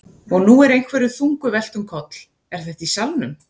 Og nú er einhverju þungu velt um koll. er þetta í salnum?